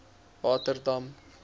waterdam